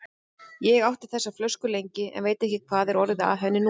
Ég átti þessa flösku lengi, en veit ekki hvað er orðið af henni núna.